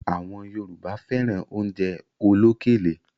Àwọn Yorùbá fẹ́ran oúnjẹ olókèlè